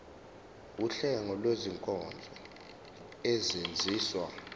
wuhlengo lwezinkonzo ezenziwa